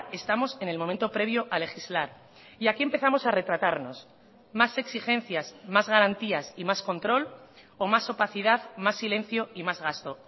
estamos en el momento previo a legislar y aquí empezamos a retratarnos más exigencias más garantías y más control o más opacidad más silencio y más gasto